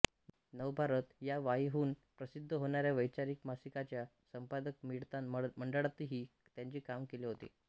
नवभारत या वाईहून प्रसिद्ध होणाऱ्या वैचारिक मासिकाच्या संपादक मंडळातही त्यांनी काम केले होते